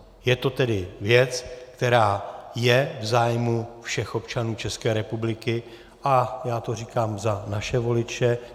Je to tedy věc, která je v zájmu všech občanů České republiky, a já to říkám za naše voliče.